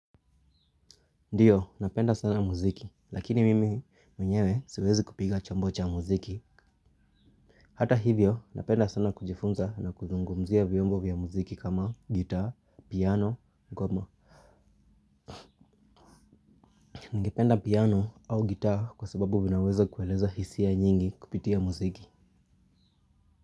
Ndiyo, napenda sana muziki, lakini mimi mwenyewe siwezi kupiga chombo cha muziki. Hata hivyo, napenda sana kujifunza na kuzungumzia viombo vya muziki kama gita, piano, ngoma. Ningependa piano au gitaa kwa sababu vinaweza kueleza hisia nyingi kupitia muziki.